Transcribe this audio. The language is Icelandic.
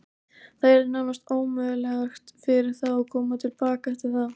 Það yrði nánast ómögulegt fyrir þá að koma til baka eftir það.